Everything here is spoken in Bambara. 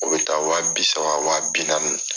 O bi taa wa bisa wa bi naani